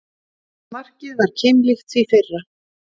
Markið var keimlíkt því fyrra